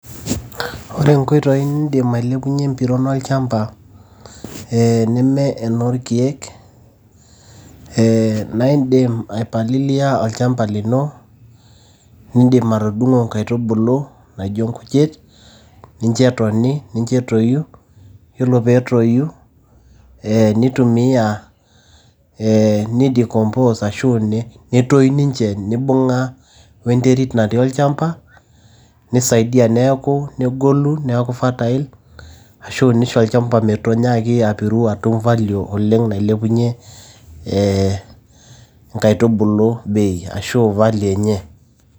Ore inkoitoi nindim alepunye empiron olchamba, neme enoolkeek naa idim aipalilia olchamba lino nidimatudungo inkaitubulu naijo inkujit nincho etoni, nincho etoyu, iyiolo pee toyu, neidicompose ashu netoyu ninche neibung'a we nterit natii olchamba neisaidia. Neaku negolu neaku fertile ashu neisho olchamba menyaaki apiru atum value oleng' nailepunye ee inkaitubulu bei ashu value[s] enye.